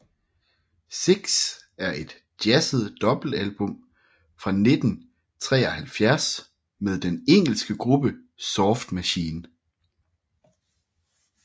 Six er et jazzet dobbeltalbum fra 1973 med den engelske gruppe Soft Machine